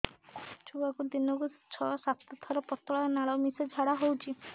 ଛୁଆକୁ ଦିନକୁ ଛଅ ସାତ ଥର ପତଳା ନାଳ ମିଶା ଝାଡ଼ା ହଉଚି